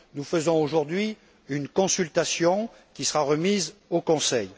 Nous menons aujourd'hui une consultation qui sera remise au Conseil.